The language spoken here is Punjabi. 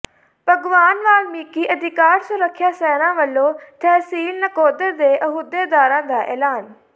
ਭਗਵਾਨ ਵਾਲਮੀਕਿ ਅਧਿਕਾਰ ਸੁਰੱਖਿਆ ਸੈਨਾ ਵਲੋਂ ਤਹਿਸੀਲ ਨਕੋਦਰ ਦੇ ਅਹੁਦੇਦਾਰਾਂ ਦਾ ਐਲਾਨ